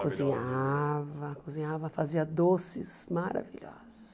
Cozinhava, cozinhava, fazia doces maravilhosos.